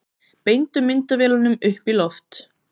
Beindu myndavélunum upp í loft